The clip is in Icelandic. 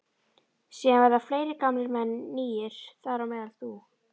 Síðan verða fleiri gamlir menn nýir, þar á meðal þú.